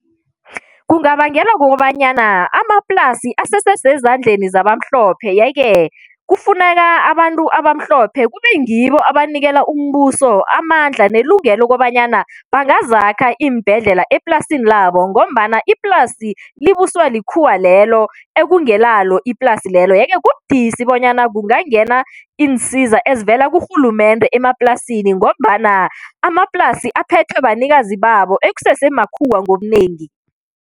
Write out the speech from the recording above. Kungabangelwa kokobanyana amaplasi asesesezandleni zabamhlophe yeke kufuneka abantu abamhlophe kube ngibo abanikela umbuso amandla nelungelo lokobanyana bangazakha iimbhedlela eplasini labo ngombana iplasi libuswa likhuwa lelo ekungelalo iplasi lelo yeke kubudisi bonyana kungangena iinsiza ezivela kurhulumende emaplasini ngombana amaplasi aphethwe banikazi babo ekusese makhuwa ngobunengi.